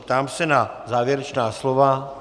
Ptám se na závěrečná slova.